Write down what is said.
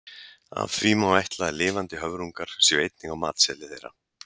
Af því má ætla að lifandi höfrungar séu einnig á matseðli þeirra.